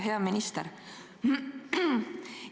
Hea minister!